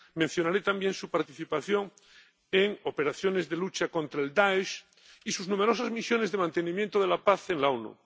Mencionaré también su participación en operaciones de lucha contra el Dáesh y sus numerosas misiones de mantenimiento de la paz en la